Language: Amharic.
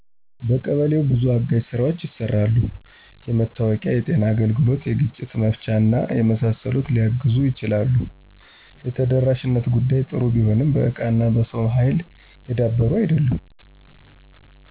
በየቀበሌው በዙ አጋዥ ስራዎች ይሰራሉ። የመታወቂያ፣ የጤና አገልግሎት፣ የግጭት መፍቻና የመሳሰሉት ሊያግዙ ይችላሉ። የተደራሽነት ጉዳይ ጥሩ ቢሆንም በእቃና በሰው ሀይል የዳበሩ አይደሉም።